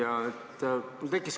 Hea ettekandja!